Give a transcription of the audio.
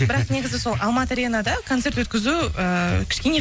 бірақ негізі сол алматы аренада концерт өткізу ыыы кішкене